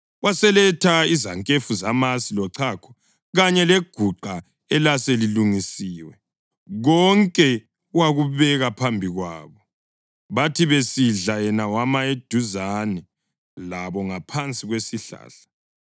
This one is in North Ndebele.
Waseletha izankefu zamasi, lochago kanye leguqa elaselilungisiwe, konke wakubeka phambi kwabo. Bathi besidla yena wema eduzane labo ngaphansi kwesihlahla.